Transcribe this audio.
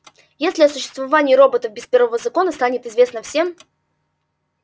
если о существовании роботов без первого закона станет известно всем